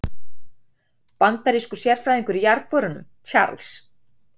Bandarískur sérfræðingur í jarðborunum, Charles